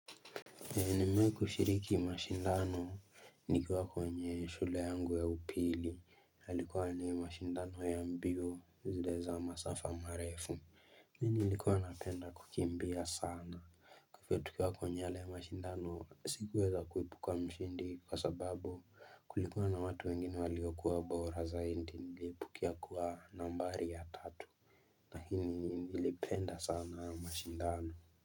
Nimewai kushiriki mashindano Nikiwa kwenye shule yangu ya upili Halikuwa ni mashindano ya mbio zile za masafa marefu Nilikuwa napenda kukimbia sana Kufetukiwa kwenye yale mashindano sikuweza kuipuka mshindi kwa sababu kulikuwa na watu wengine waliokuwa bora zaidi nilipukia kuwa nambari ya tatu na nilipenda sana mashindano.